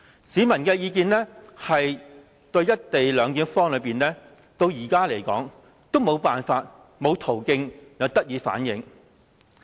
市民對"一地兩檢"方案的意見，至今仍然沒有途徑可以反映。